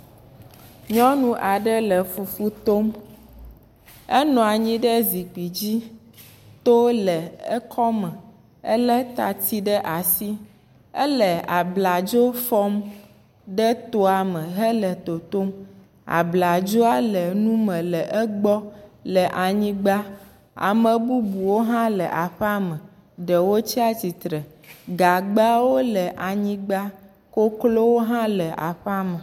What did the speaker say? Nyɔnu aɖe le fufu tom, enɔ anyi ɖe zikpui dzi, to le ekɔ me, elé tati ɖe asi, ele abladzo fɔm de toa me hele totom, abladzoa le nu me le egbɔ le anyigba, ame bubuwo hã le aƒea me, ɖewo tsatsitre, gagbawo le anyigba, koklowo hã le aƒea me.